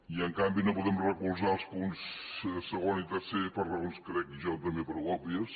i en canvi no podem recolzar els punts segon i tercer per raons crec jo també prou òbvies